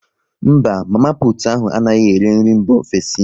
Mba, mama putu ahu anaghị ere nri mba ofesi